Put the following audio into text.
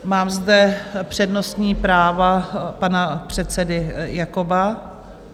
Mám zde přednostní právo pana předsedy Jakoba.